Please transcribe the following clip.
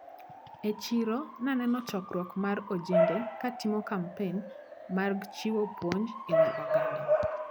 E chiro naneno chokruok mar ojende katimo kampen mag chiwo puonj ewi oganda.